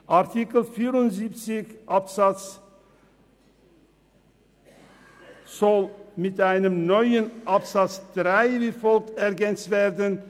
Artikel 74 soll mit einem neuen Absatz 3 wie folgt ergänzt werden: